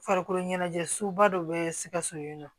Farikolo ɲɛnajɛ suba dɔ bɛ sikaso yen nɔ